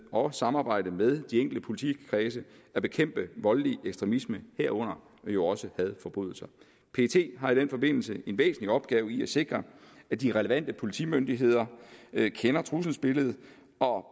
og samarbejde med de enkelte politikredse at bekæmpe voldelig ekstremisme herunder jo også hadforbrydelser pet har i den forbindelse en væsentlig opgave i at sikre at de relevante politimyndigheder kender trusselsbilledet og